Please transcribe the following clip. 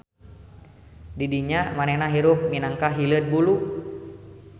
DIdinya manehna hirup minangka hileud bulu.